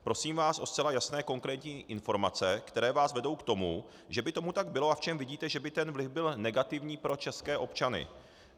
Prosím vás o zcela jasné, konkrétní informace, které vás vedou k tomu, že by tomu tak bylo, a v čem vidíte, že by ten vliv byl negativní pro české občany.